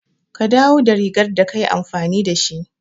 Ka dawo da rigar da ka yi amfani da shi.